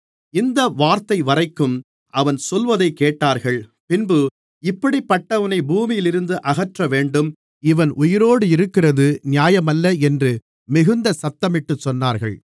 இந்த வார்த்தைவரைக்கும் அவன் சொல்லுவதை கேட்டார்கள் பின்பு இப்படிப்பட்டவனை பூமியிலிருந்து அகற்றவேண்டும் இவன் உயிரோடிருக்கிறது நியாயமல்ல என்று மிகுந்த சத்தமிட்டுச் சொன்னார்கள்